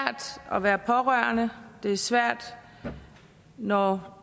at være pårørende det er svært når